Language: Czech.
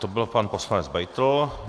To byl pan poslanec Beitl.